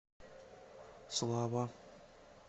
слава